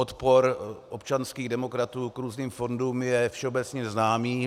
Odpor občanských demokratů k různým fondům je všeobecně známý.